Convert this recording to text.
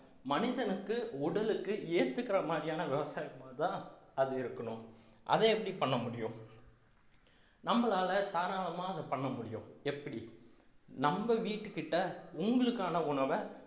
மனிதனுக்கு உடலுக்கு ஏத்துக்கிற மாதிரியான விவசாயமாதான் அது இருக்கணும் அதை எப்படி பண்ண முடியும் நம்மளால தாராளமா அதை பண்ண முடியும் எப்படி நம்ம வீட்டுக்கிட்ட உங்களுக்கான உணவை